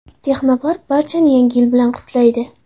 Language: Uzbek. Texnopark barchani Yangi yil bilan qutlaydi.